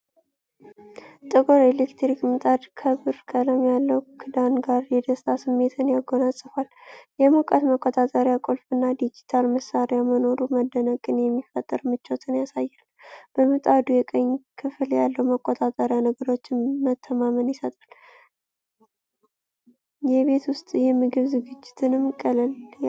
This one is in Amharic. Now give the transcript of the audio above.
ጥቁር ኤሌክትሪክ ምጣድ ከብር ቀለም ያለው ክዳን ጋር የደስታ ስሜትን ያጎናጽፋል። የሙቀት መቆጣጠሪያ ቁልፍ እና ዲጂታል ማሳያ መኖሩ መደነቅን የሚፈጥር ምቾትን ያሳያል። በምጣዱ የቀኝ ክፍል ያለው መቆጣጠሪያ ነገሮችን መተማመን ይሰጣል፤ የቤት ውስጥ የምግብ ዝግጅትን ቀላል ያደርጋል።